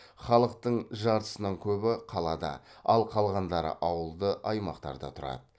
халықтың жартысынан көбі қалада ал қалғандары ауылды аймақтарда тұрады